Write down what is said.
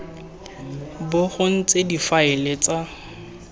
bo go ntse difaele tsa